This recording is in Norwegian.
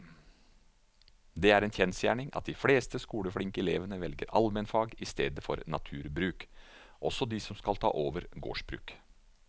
Det er en kjensgjerning at de fleste skoleflinke elevene velger allmennfag i stedet for naturbruk, også de som skal ta over gårdsbruk.